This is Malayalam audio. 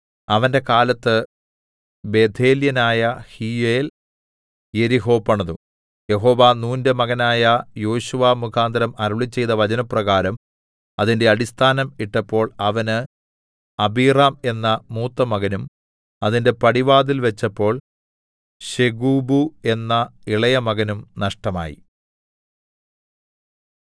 അവന്റെ കാലത്ത് ബേഥേല്യനായ ഹീയേൽ യെരിഹോ പണിതു യഹോവ നൂന്റെ മകനായ യോശുവ മുഖാന്തരം അരുളിച്ചെയ്ത വചനപ്രകാരം അതിന്റെ അടിസ്ഥാനം ഇട്ടപ്പോൾ അവന് അബീറാം എന്ന മൂത്തമകനും അതിന്റെ പടിവാതിൽ വെച്ചപ്പോൾ ശെഗൂബു എന്ന ഇളയ മകനും നഷ്ടമായി